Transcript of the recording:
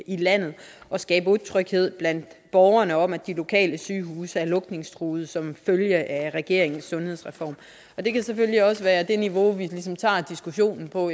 i landet og skabe utryghed blandt borgerne om at de lokale sygehuse er lukningstruede som følge af regeringens sundhedsreform det kan selvfølgelig også være det niveau vi tager diskussionen på